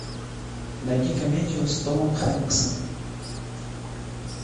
найди комедию с томом хэнксом